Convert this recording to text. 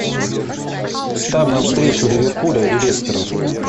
ставь нам встречу ливерпуля и лестера